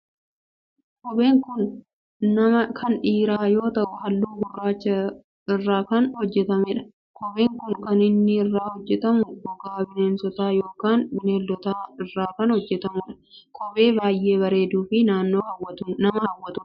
Kopheen kun kan dhiiraa yoo ta'u halluu gurraacha irraa kan hojjetamedha. Kopheen kun kan inni irraa hojjetamu gogaa bineensotaa yookin beelladootaa irraa kan hojjetamudha. Kophee baayyee bareeduu fi nama hawwatudha.